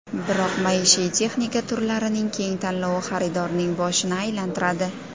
Biroq maishiy texnika turlarining keng tanlovi xaridorning boshini aylantiradi.